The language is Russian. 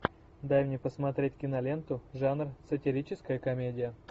дай мне посмотреть киноленту жанр сатирическая комедия